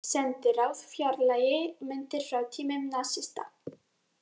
Sendiráð fjarlægi myndir frá tímum nasista